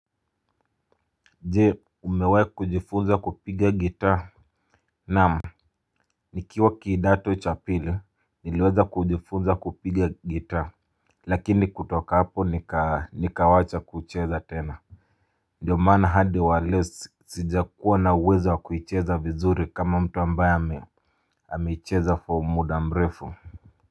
Jee umewahi kujifunza kupiga gitaa. Naam. Nikiwa kidato cha pili niliweza kujifunza kupiga guitar. Lakini kutoka hapo nikawacha kucheza tena. Ndiyo maana hadi wa leo sijakuwa na uwezo wa kuicheza vizuri kama mtu ambaye ameicheza for muda mrefu.